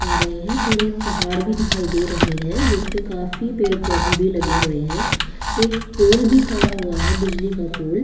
पा रहे है थोड़े पहाड़ भी दिखाई दे रहे हैं जिस पे काफी पेड़ पौधे भी लगे हुए हैं एक पोल भी खड़ा हुआ है बिजली का पोल और थोड़ा सा--